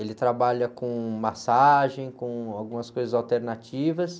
Ele trabalha com massagem, com algumas coisas alternativas.